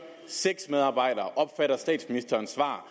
seks medarbejdere opfatter statsministerens svar